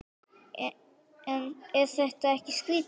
En er þetta ekkert skrýtið?